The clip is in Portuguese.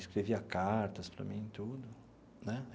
Escrevia cartas para mim, tudo né.